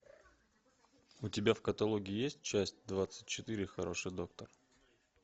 у тебя в каталоге есть часть двадцать четыре хороший доктор